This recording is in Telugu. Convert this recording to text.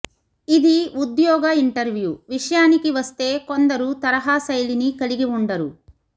ఇది ఉద్యోగ ఇంటర్వ్యూ విషయానికి వస్తే కొందరు తరహా శైలిని కలిగి ఉండరు